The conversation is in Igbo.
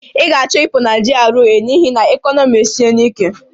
Ị ga-achọ ịpụ na GRA n'ihi na ekọnọmi esiena ike!